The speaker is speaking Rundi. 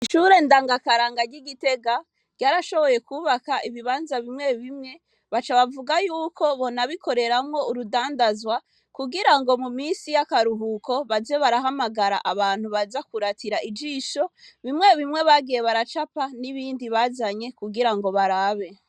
Ishure ndangakaranga ry'igitega ryarashoboye kubaka ibibanza bimwe bimwe baca bavuga yuko bonabikoreramwo urudandazwa kugira ngo mu misi y'akaruhuko baze barahamagara abantu baza kuratira ijisho bimwe bimwe bagiye baracapa n'ibindi bazanye kugira ngo barabe.